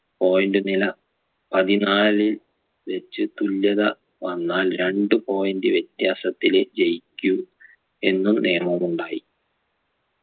point നില പതിനാലിൽ വെച്ച് തുല്യത വന്നാൽ രണ്ട് point വ്യത്യാസത്തിലെ ജയിക്കൂ എന്നും നേർമമുണ്ടായി